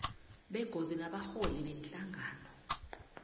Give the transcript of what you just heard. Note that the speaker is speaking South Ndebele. begodu nabarholi beenhlangano